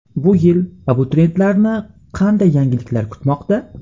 Bu yil abituriyentlarni qanday yangiliklar kutmoqda?.